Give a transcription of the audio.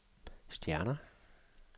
stjerner